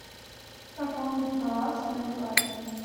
пополнить баланс на билайн